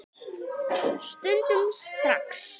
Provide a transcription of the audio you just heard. Stundum strax.